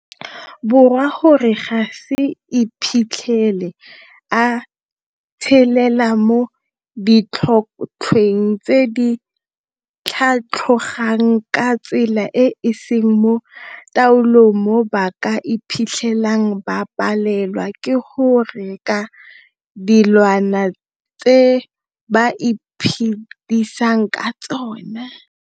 Borwa gore a se iphitlhele a tshelela mo ditlhotlhweng tse di tlhatlhogang ka tsela e e seng mo taolong mo ba ka iphitlhelang ba palelwa ke go reka dilwana tse ba iphedisang ka tsona.